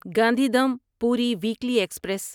Gandhidham Puri weekly express